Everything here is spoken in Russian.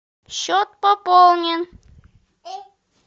счет пополнен